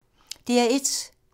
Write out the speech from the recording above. DR1